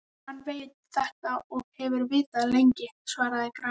Hann veit þetta og hefur vitað lengi, svaraði hann gramur.